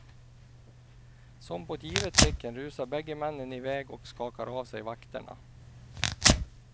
Som på ett givet tecken rusar bägge männen iväg och skakar av sig vakterna.